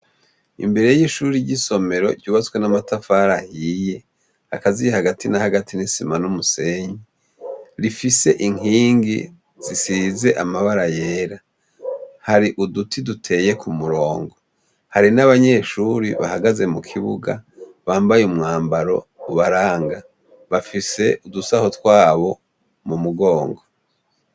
Imbere ry' ishure ry' isomero ryubatse n' amatafari ahiye, akaziye hagati na hagati n' isima n' umusenyi, rifise inkingi zisize amabara yera. Hari uduti duteye ku murongo. Hari n' abanyeshuri bahagaze mu kibuga, bambaye umwambaro ubaranga. Bafise udusaho twabo mu mugongo.